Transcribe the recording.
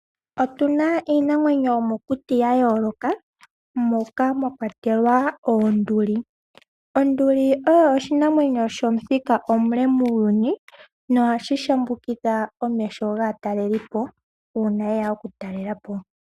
Otuna iinamwenyo yo mokuti ya yooloka moka mwa kwatelwa oonduli. Onduli oyo oshinamwenyo shomuthika omule muuyuni nohashi ondodha omeho gaatalelipo uuna yeya oku talelapo.